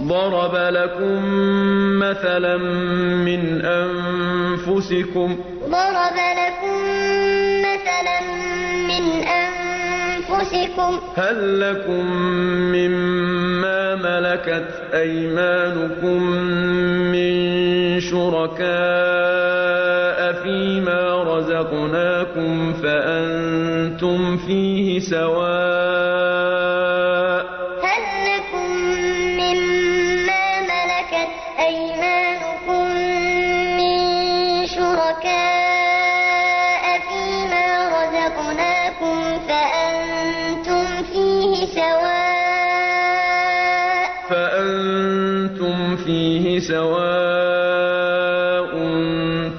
ضَرَبَ لَكُم مَّثَلًا مِّنْ أَنفُسِكُمْ ۖ هَل لَّكُم مِّن مَّا مَلَكَتْ أَيْمَانُكُم مِّن شُرَكَاءَ فِي مَا رَزَقْنَاكُمْ فَأَنتُمْ فِيهِ سَوَاءٌ